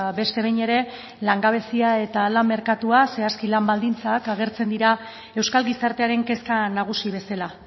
beste behin ere langabezia eta lan merkatua zehazki lan baldintzak agertzen dira euskal gizartearen kezka nagusi bezala